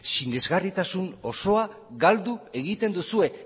sinesgarritasun osoa galdu egiten duzue